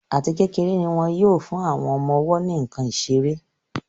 Àti kékeré ní wón yóò fún àwọn ọmọ-ọwọ́ ní nkán seré.